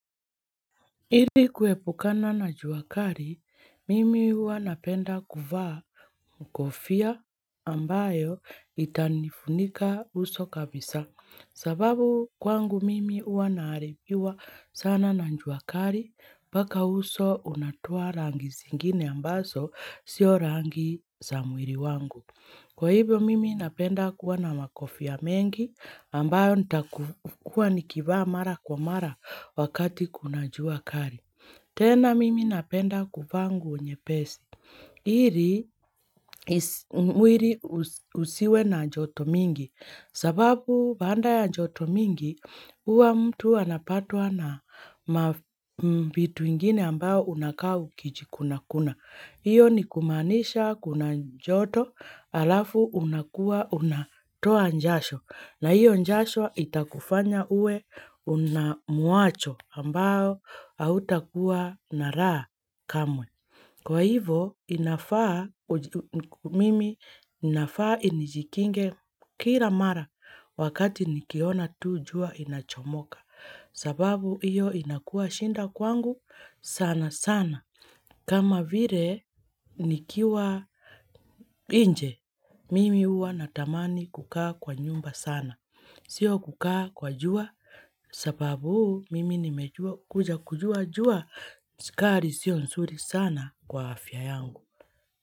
Ili kuepukana na n jua kari, mimi uwa napenda kuvaa kofia ambayo itanifunika uso kabisa. Sababu kwangu mimi uwa naaripiwa sana na njua kari, mbaka uso unatoa rangi zingine ambaso sio rangi za mwiri wangu. Kwa hivyo mimi napenda kuwa na makofia mengi, ambayo nitaku hua nikivaa mara kwa mara wakati kuna jua kari. Tena mimi napenda kuvaa nguo nyepesi. Iri mwiri usiwe na joto mingi, sababu baada ya joto mingi, uwa mtu anapatwa na vitu ingine ambayo unakaa ukijikuna kuna. Iyo ni kumanisha kuna njoto alafu unakua unatoa njasho na hiyo njasho itakufanya uwe unamuasho ambao autakuwa na raha kamwe. Kwa hivo inafaa mimi inafaa inijikinge kila mara wakati nikiona tu jua inachomoka sababu iyo inakua shinda kwangu sana sana. Kama vire nikiwa inje, mimi huwa natamani kukaa kwa nyumba sana. Sio kukaa kwa jua, sababu mimi nimejua kuja kujua jua, skari sio nsuri sana kwa afya yangu.